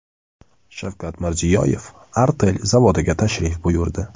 Shavkat Mirziyoyev Artel zavodiga tashrif buyurdi.